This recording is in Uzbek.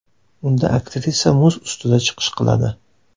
Unda aktrisa muz ustida chiqish qiladi.